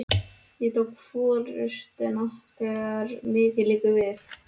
Ég tek forystuna, þegar mikið liggur við!